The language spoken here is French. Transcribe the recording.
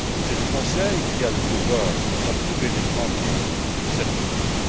C'est le Conseil qui a le pouvoir d'approuver les grandes lignes de cette politique.